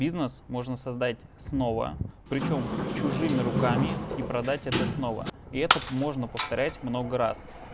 бизнес можно создать снова причём чужими руками и продать это снова и это можно повторять много раз